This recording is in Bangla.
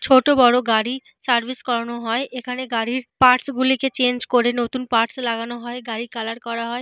ছোট বড় গাড়ি সার্ভিস করানো হয়। এখানে গাড়ির পার্টস গুলি কে চেঞ্জ করে নতুন পার্টস লাগানো হয়। গাড়ি কালার করা হয়।